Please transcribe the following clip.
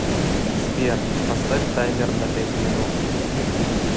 сбер поставь таймер на пять минут